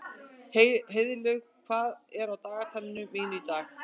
Heiðlaug, hvað er á dagatalinu mínu í dag?